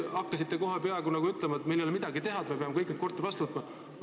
Te peaaegu ütlesite, et meil ei ole midagi teha, me peame kõik need korterid vastu võtma.